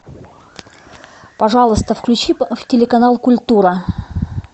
пожалуйста включи телеканал культура